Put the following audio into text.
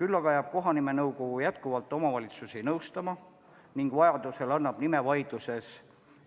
Küll aga jääb kohanimenõukogu omavalitsusi edaspidigi nõustama ning vajaduse korral esitab nimevaidluses